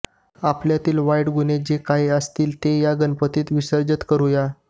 आपल्यातील वाईट गुण जे काही असतील ते या गणपतीत विसर्जित करूया